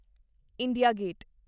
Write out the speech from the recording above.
India gate